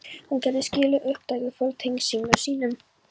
Hann gerði silkið upptækt og fól tengdasyni sínum